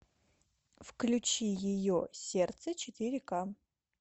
включи ее сердце четыре ка